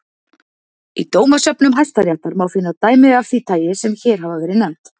Í dómasöfnum hæstaréttar má finna dæmi af því tagi sem hér hafa verið nefnd.